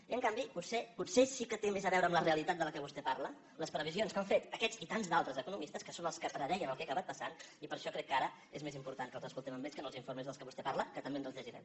i en canvi potser sí que tenen més a veure amb la realitat de què vostè parla les previsions que han fet aquests i tants d’altres economistes que són els que predeien el que ha acabat passant i per això crec que ara és més important que els escoltem a ells que no els informes de què vostè parla que també ens els llegirem